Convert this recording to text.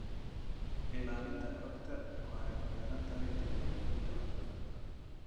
Ilaalinta xogta waxay ku xiran tahay tignoolajiyada wanaagsan.